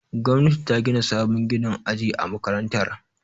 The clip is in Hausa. Gwamnati ta gina sabon ginin aji a makarantar.